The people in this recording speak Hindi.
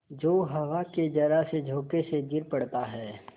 जो हवा के जरासे झोंके से गिर पड़ता है